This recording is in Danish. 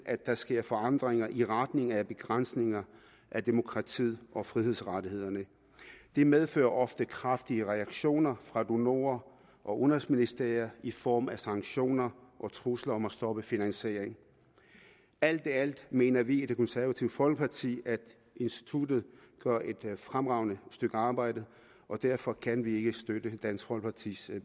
at der sker forandringer i retning af begrænsninger af demokratiet og frihedsrettighederne det medfører ofte kraftige reaktioner fra donorer og udenrigsministerier i form af sanktioner og trusler om at stoppe finansiering alt i alt mener vi i det konservative folkeparti at instituttet gør et fremragende stykke arbejde og derfor kan vi ikke støtte dansk folkepartis